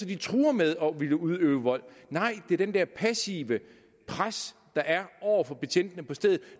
de truer med at ville udøve vold nej det er det der passive pres der er over for betjentene på stedet